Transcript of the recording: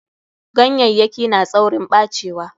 Ganyayyaki na tsaurin ɓacewa.